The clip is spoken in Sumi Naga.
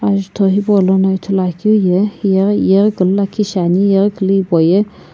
ajutho Hipaulono ithuluakeu ye hiye yeghikulu lakhi shiani yeghikulu hipau ye.